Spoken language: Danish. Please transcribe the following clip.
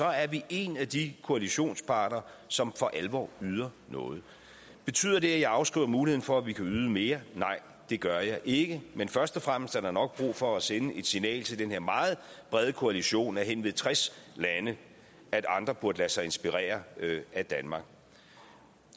er vi en af de koalitionsparter som for alvor yder noget betyder det at jeg afskriver muligheden for at vi kan yde mere nej det gør jeg ikke men først og fremmest er der nok brug for at sende det signal til den her meget brede koalition af henved tres lande at andre burde lade sig inspirere af danmark